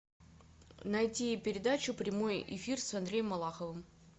найти передачу прямой эфир с андреем малаховым